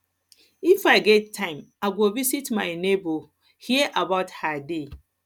if i get time i go visit my neighbour hear about her day